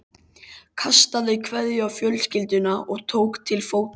Kastaði kveðju á fjölskylduna og tók til fótanna.